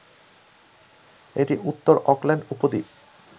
এটি উত্তর অকল্যান্ড উপদ্বীপ